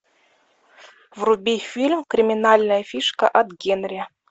вруби фильм криминальная фишка от генри